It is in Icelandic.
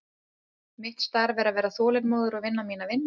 Mitt starf er að vera þolinmóður og vinna mína vinnu.